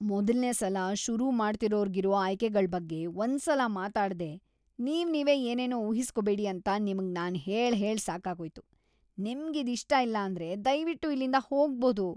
ಮೊದಲ್ನೇ ಸಲ ಶುರು ಮಾಡ್ತಿರೋರ್ಗಿರೋ ಆಯ್ಕೆಗಳ್ ಬಗ್ಗೆ ಒಂದ್ಸಲ ಮಾತಾಡ್ದೇ ನೀವ್ನೀವೇ ಏನೇನೋ ಊಹಿಸ್ಕೊಬೇಡಿ ಅಂತ ನಿಮ್ಗ್‌ ನಾನ್‌ ಹೇಳ್ಹೇಳ್‌ ಸಾಕಾಗೋಯ್ತು.. ನಿಮ್ಗಿದ್ ಇಷ್ಟ ಇಲ್ಲಾಂದ್ರೆ ದಯ್ವಿಟ್ಟು ಇಲ್ಲಿಂದ ಹೋಗ್ಬೋದು.